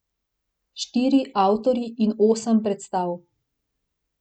Štiri avtorji in osem predstav.